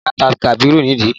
Ẹ̀ka ta Kabiru nídìí